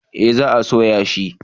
Eh za a soya shi